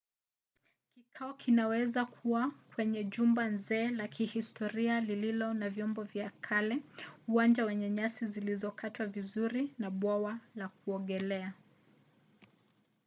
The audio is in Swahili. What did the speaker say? kikao kinaweza kuwa kwenye jumba nzee la kihistoria lililo na vyombo vya kale uwanja wenye nyasi zilizokatwa vizuri na bwawa la kuogelea